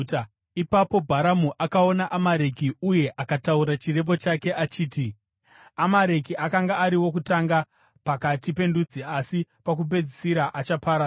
Ipapo Bharamu akaona Amareki uye akataura chirevo chake achiti: “Amareki akanga ari wokutanga pakati pendudzi, asi pakupedzisira achaparadzwa.”